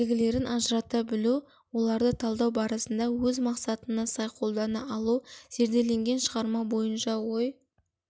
белгілерін ажырата білу оларды талдау барысында өз мақсатына сай қолдана алу зерделенген шығарма бойынша ой